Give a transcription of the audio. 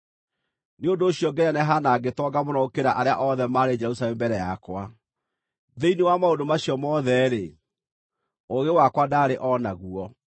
Nĩ ũndũ ũcio ngĩneneha na ngĩtonga mũno gũkĩra arĩa othe maarĩ Jerusalemu mbere yakwa. Thĩinĩ wa maũndũ macio mothe-rĩ, ũũgĩ wakwa ndaarĩ o naguo.